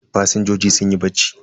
Fasinjojin sunyi bacci.